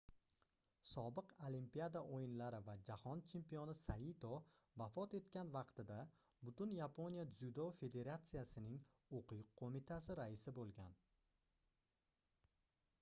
sobiq olimpiada oʻyinlari va jahon chempioni saito vafot etgan vaqtida butun yaponiya dzyudo federatsiyasining oʻquv qoʻmitasi raisi boʻlgan